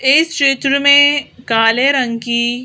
इस चित्र में काले रंग की--